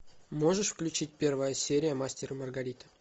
можешь включить первая серия мастер и маргарита